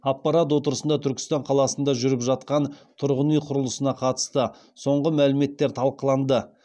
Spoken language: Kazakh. аппарат отырысында түркістан қаласында жүріп жатқан тұрғын үй құрылысына қатысты соңғы мәліметтер талқыланды